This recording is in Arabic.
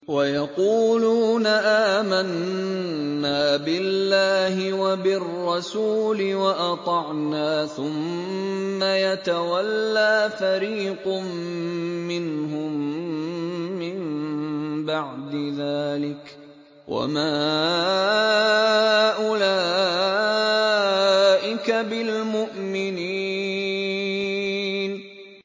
وَيَقُولُونَ آمَنَّا بِاللَّهِ وَبِالرَّسُولِ وَأَطَعْنَا ثُمَّ يَتَوَلَّىٰ فَرِيقٌ مِّنْهُم مِّن بَعْدِ ذَٰلِكَ ۚ وَمَا أُولَٰئِكَ بِالْمُؤْمِنِينَ